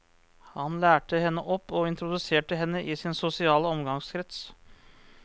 Han lærte henne opp, og introduserte henne i sin sosiale omgangskrets.